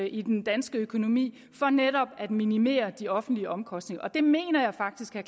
i den danske økonomi for netop at minimere de offentlige omkostninger og det mener jeg faktisk er